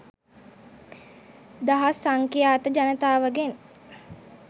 දහස් සංඛ්‍යාත ජනතාවගෙන්